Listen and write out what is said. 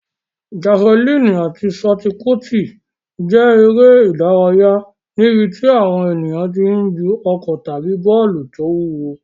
Jafulíìnì àti ṣọtipútì jẹ́ eré ìdárayá níbi tí àwọn ènìyàn ti ń ju ọ̀kọ̀ tàbí bọ́ọ̀lù tó wúwo.